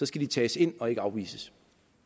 skal de tages ind og ikke afvises